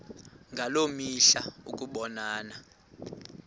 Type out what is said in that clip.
ngaloo mihla ukubonana